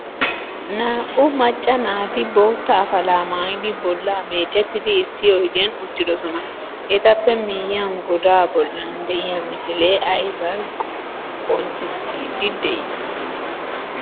Naa'u macca naati boottaa afala maayidi bolla meecettidi issi oydiyan uttidosona. Etappe miyiyan godaa bollan de'iyaa misile ayba qonccisidi de'i?